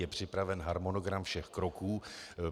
Je připraven harmonogram všech kroků.